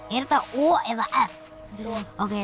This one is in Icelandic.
þetta o eða f